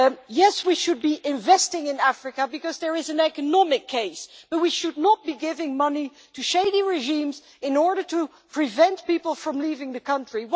Yes, we should be investing in Africa, because there is an economic case, but we should not be giving money to shady regimes in order to prevent people from leaving the country.